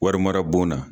Wari mara bon na